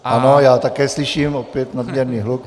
Ano, já také slyším opět nadměrný hluk.